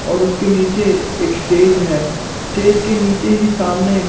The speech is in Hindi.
और उसके नीचे एक स्टेज है स्टेज के नीचे ही सामने--